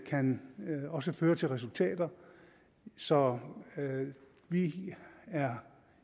kan også føre til resultater så vi er